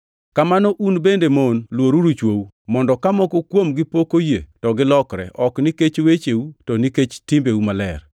Kamano un bende mon luoruru chwou, mondo ka moko kuomgi pok oyie to gilokre, ok nikech wecheu to nikech timbeu maler,